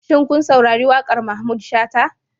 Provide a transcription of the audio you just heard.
Shin kun saurari wakar Mahmud Shata